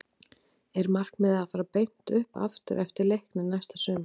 Er markmiðið að fara beint upp aftur með Leikni næsta sumar?